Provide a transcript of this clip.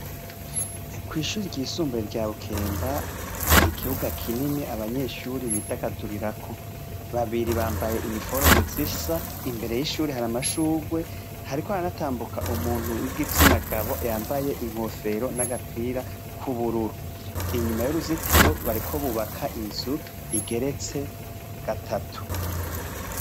Kw'ishuri ry'isumbuye rya bukemba hari ikibuga kinini abanyeshuri bidagadurirako ,babiri bambaye iniforme zisa imbere y'ishuri hari amashugwe hariko araratambuka umuntu w'igitsinagabo yambaye inkofero n'agapira kw'ubururu, inyuma y'uruzitiro bariko bubaka inzu igeretse gatatu.